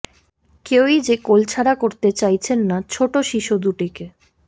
কেউই যে কোল ছাড়া করতে চাইছেন না ছোট শিশু দুটিকে